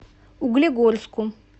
углегорску